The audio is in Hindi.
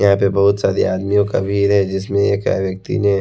यहाँ पे बहुत सारे आदमियों का भीर है जिसमें एक व्यक्ति ने --